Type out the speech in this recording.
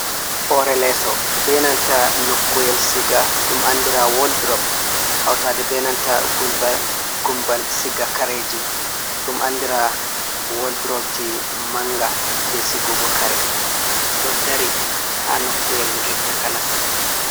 Hoore leeso, be nanta nokkuyel siga ɗum andira wodrop. Hautade be nanta gumbal siga kareji, ɗum andira woldropji manga je sigugo kare. Ɗo dari haa nokkuyel ngel takanas.